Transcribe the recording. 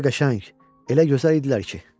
Elə qəşəng, elə gözəl idilər ki.